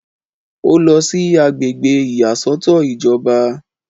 Ó lọ sí àgbègbè ìyàsọ́tọ̀ ìjọba